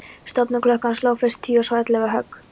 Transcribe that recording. Stofuklukkan sló fyrst tíu og svo ellefu högg.